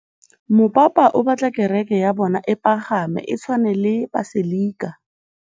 Mopapa o batla kereke ya bone e pagame, e tshwane le paselika.